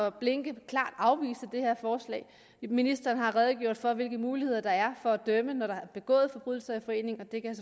at blinke klart afvise det her forslag ministeren har redegjort for hvilke muligheder der er for at dømme når der er begået forbrydelser i forening og det kan